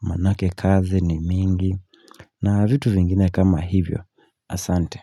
manake kazi ni mingi na vitu vingine kama hivyo asante.